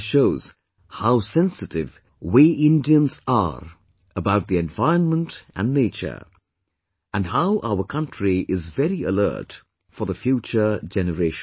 This shows how sensitive we Indians are about the environment and nature, and how our country is very alert for the future generations